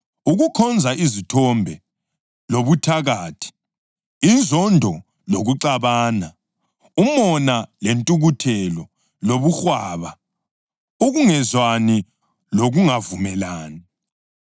ukukhonza izithombe lobuthakathi; inzondo lokuxabana, umona lentukuthelo, lobuhwaba, ukungezwani lokungavumelani